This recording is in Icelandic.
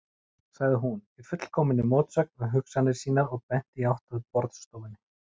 sagði hún, í fullkominni mótsögn við hugsanir sínar og benti í átt að borðstofunni.